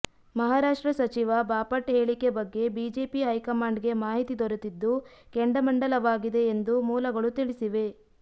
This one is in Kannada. ಮಹಾರಾಷ್ಟ್ರ ಸಚಿವ ಬಾಪಟ್ ಹೇಳಿಕೆ ಬಗ್ಗೆ ಬಿಜೆಪಿ ಹೈಕಮಾಂಡ್ಗೆ ಮಾಹಿತಿ ದೊರೆತಿದ್ದು ಕೆಂಡಾಮಂಡಲವಾಗಿದೆ ಎಂದು ಮೂಲಗಳು ತಿಳಿಸಿವೆ